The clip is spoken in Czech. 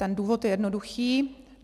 Ten důvod je jednoduchý.